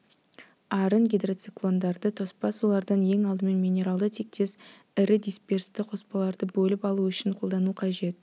арын гидроциклондарды тоспа сулардан ең алдымен минералды тектес ірі дисперсті қоспаларды бөліп алу үшін қолдану қажет